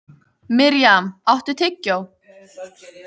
Mirjam, áttu tyggjó?